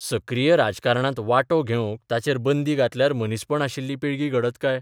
सक्रीय राजकारणांत वांटो घेवंक तांचेर बंदी घातल्यार मनीसपण आशिल्ली पिळगी घडत काय?